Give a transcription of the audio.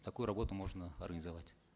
такую работу можно организовать